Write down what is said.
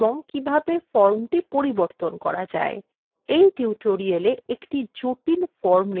in tutorial একটি জটিল form নির্মাণ শেখা যাক